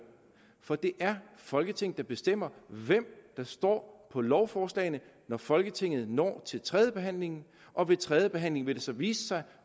for det er folketinget der bestemmer hvem der står på lovforslagene når folketinget når til tredjebehandlingen og ved tredjebehandlingen vil det så vise sig